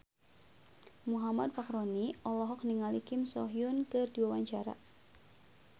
Muhammad Fachroni olohok ningali Kim So Hyun keur diwawancara